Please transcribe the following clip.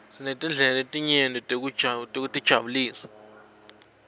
sinetindlela letinyeti tekutijabulisa